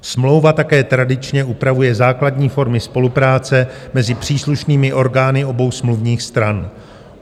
Smlouva také tradičně upravuje základní formy spolupráce mezi příslušnými orgány obou smluvních stran.